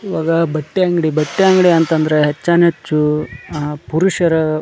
ಇವಾಗ ಬಟ್ಟೆ ಅಂಗಡಿ ಬಟ್ಟೆ ಅಂಗಡಿ ಅಂತ ಅಂದ್ರ ಹೆಚ್ಚಾನ್ಹೆಚ್ಚ ಅಹ್ ಪುರುಷರ--